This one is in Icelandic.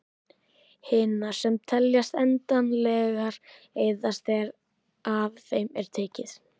Hinar, sem teljast endanlegar, eyðast þegar af þeim er tekið.